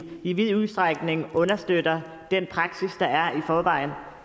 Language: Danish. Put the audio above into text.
i vid udstrækning understøtter den praksis der er i forvejen